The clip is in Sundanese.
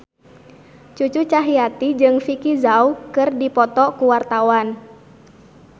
Cucu Cahyati jeung Vicki Zao keur dipoto ku wartawan